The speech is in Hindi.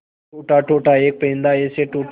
टूटा टूटा एक परिंदा ऐसे टूटा